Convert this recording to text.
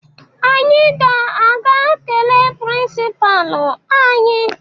Anyị ga-aka kelee prịnsịpaa anyị